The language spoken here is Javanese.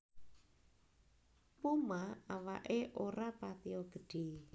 Puma awaké ora patiya gedhé